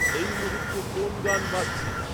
এই মুহূর্তে কোন গান বাজছে?